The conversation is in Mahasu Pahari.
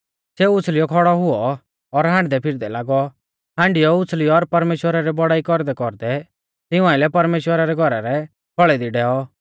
सेऊ उछ़ल़ीऔ खौड़ौ हुऔ और हांडदैफिरदै लागौ हांडीयौ उछ़ल़ीऔ और परमेश्‍वरा री बौड़ाई कौरदैकौरदै तिऊं आइलै परमेश्‍वरा रै घौरा रै खौल़ै दी डैऔ